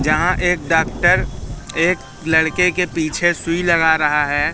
जहां एक डॉक्टर एक लड़के के पीछे सुई लगा रहा है।